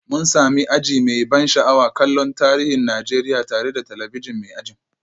Mun sami aji mai ban sha'awa kallon tarihin Najeriya tare da talabijin mai ajin